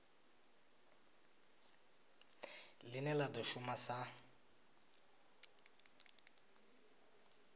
line la do shuma sa